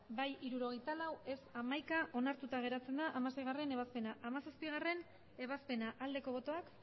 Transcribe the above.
bai hirurogeita lau ez hamaika onartuta geratzen da hamaseigarrena ebazpena hamazazpigarrena ebazpena aldeko botoak